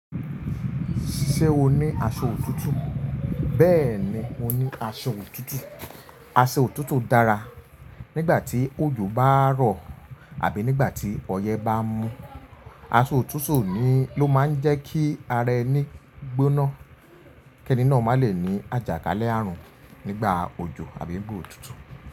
Ṣé o ní aṣọ òtútù? Beeni mo ni Aṣọ òtútù, aso otuutu dára nígbà tí òjò bá ń rọ̀ àbí nígbà tí ọyẹ́ bá ń mú. Aṣọ òtútù ló máa ń jẹ́ kí ara ẹni gbóná kí ẹni náà má lè ní àjàkalẹ̀ àrùn nígbà òjò àbí nigba otúútú.